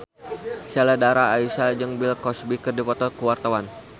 Sheila Dara Aisha jeung Bill Cosby keur dipoto ku wartawan